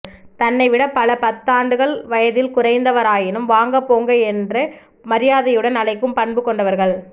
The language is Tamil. தன்னை விட பல பத்தாண்டுகள் வயதில் குறைந்தவராயினும் வாங்க போங்க என்று மரியாதையுடன் அழைக்கும் பண்பு கொண்டவர்கள்